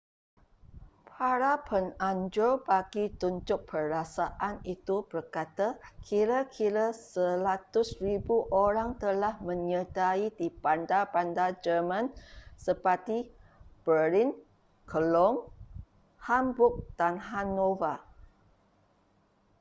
para penganjur bagi tunjuk perasaan itu berkata kira-kira 100,000 orang telah menyertai di bandar-bandar german seperti berlin cologne hamburg dan hanover